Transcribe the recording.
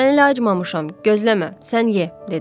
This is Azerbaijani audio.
Mən elə acmamışam, gözləmə, sən ye, dedim.